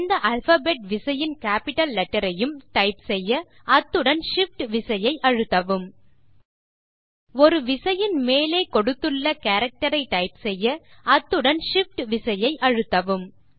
எந்த அல்பாபெட் விசையின் capital letter ஐயும் டைப் செய்ய அத்துடன் shift விசையை அழுத்தவும் ஒரு விசையின் மேலே கொடுத்துள்ள கேரக்டர் ஐ டைப் செய்ய அந்த விசையுடன் shift விசை அழுத்தவும்